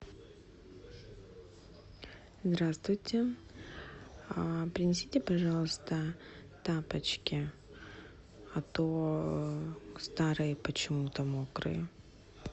здравствуйте принесите пожалуйста тапочки а то старые почему то мокрые